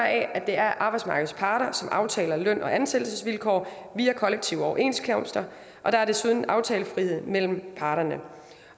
at det er arbejdsmarkedets parter som aftaler løn og ansættelsesvilkår via kollektive overenskomster og der er desuden aftalefrihed mellem parterne